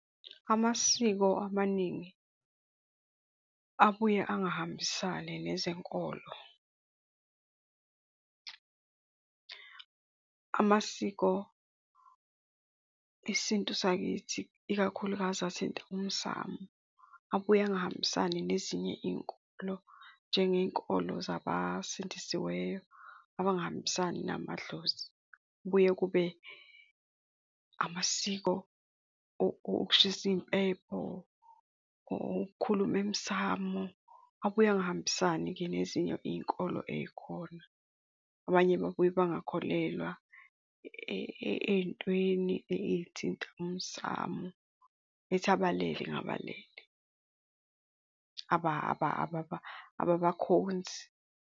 Amasiko amaningi abuye angahambisani nezenkolo, amasiko, isintu sakithi, ikakhulukazi athinta umsamu, abuye angahambisani nezinye iy'nkonzo njengey'nkolo zabasindisiweyo abangahambisani namadlozi. Kubuye kube amasiko okushisa impepho, okukhuluma emsamo. Abuye angahambisani-ke nezinye iy'nkolo ey'khona. Abanye babuye bangakholelwa ey'ntweni ey'thinta umsamo, bethi abalele abalele, ababakhonzi.